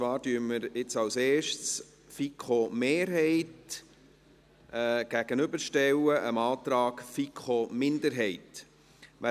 Zuerst stellen wir die FiKo-Mehrheit dem Antrag der FiKo-Minderheit gegenüber.